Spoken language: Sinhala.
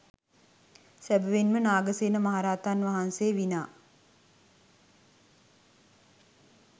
සැබැවින් ම නාගසේන මහරහතන් වහන්සේ විනා